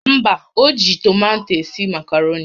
Mba, o ji tomato esi makaroni